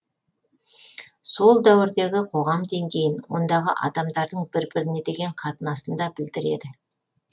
сол дәуірдегі қоғам деңгейін ондағы адамдардың бір біріне деген қатынасын да білдіреді